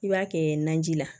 I b'a kɛ naji la